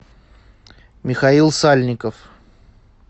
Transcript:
михаил сальников